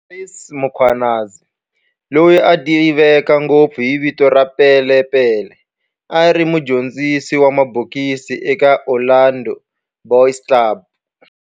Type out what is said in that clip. Andries Mkhwanazi, loyi a tiveka ngopfu hi vito ra"Pele Pele", a ri mudyondzisi wa mabokisi eka Orlando Boys Club